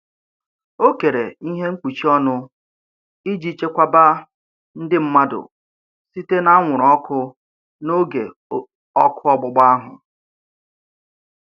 O kere ihe mkpuchi ọnụ iji chekwaba ndị mmadụ site n'anwụrụ ọkụ n'oge ọkụ ọgbụgba ahụ.